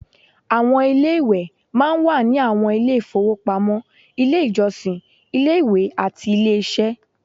Ilé-ìwẹ̀ máa ń wà ní àwọn ilé-ìfowópamọ́, ilé-ìjọsìn, ilé-ìwé, àti ilé-iṣẹ́